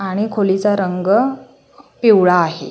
आणि खोलीचा रंग पिवळा आहे.